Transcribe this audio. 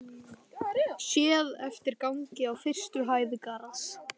Séð eftir gangi á fyrstu hæð Garðs.